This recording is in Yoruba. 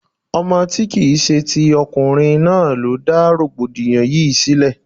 Ọmọ tí kìí ṣe ti ọkùnrin náà ló dá rọ̀gbọ̀dìyàn yìí sílẹ̀.